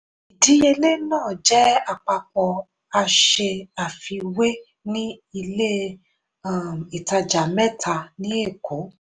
ìdíyelé náà jẹ́ àpapọ̀ a ṣe àfiwé ní ilé um ìtajà mẹ́ta ní èkó.